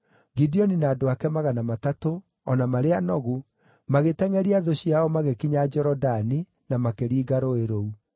Gideoni na andũ ake magana matatũ, o na marĩ anogu, magĩtengʼeria thũ ciao magĩkinya Jorodani na makĩringa rũũĩ rũu.